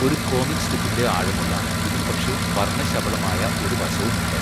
ഒരു കോമിക് സ്ട്രിപ്പിന്റെ ആഴമുള്ള ഇതിനുപക്ഷേ വർണ്ണശബളമായ ഒരു വശവുമുണ്ട്.